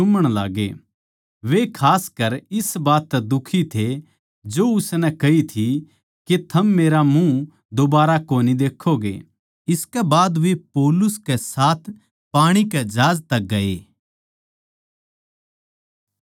वे खासकर इस बात तै दुखी थे जो उसनै कही थी के थम मेरा मुँह दुबारा कोनी देक्खोगे इसके बाद वे पौलुस के साथ पाणी के जहाज तक गये